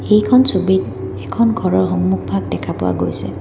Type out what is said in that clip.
এইখন ছবিত এখন ঘৰৰ সন্মুখ ভাগ দেখা পোৱা গৈছে।